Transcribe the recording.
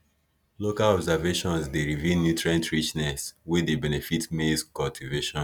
local observations dey reveal nutrient richness wey dey benefit maize cultivation